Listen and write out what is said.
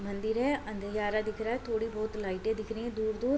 मंदिर हैं दिख रहा हैं थोड़ी बहुत लाइटें दिख रही हैं दूर-दूर।